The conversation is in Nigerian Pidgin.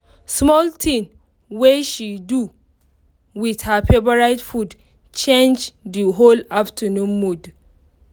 small thing wey she do with her favorite food change di whole afternoon mood